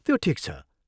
त्यो ठिक छ।